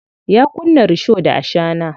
Ya kunna risho da ashana.